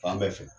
Fan bɛɛ fɛ